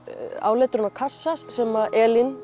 áletrun á kassa sem Elín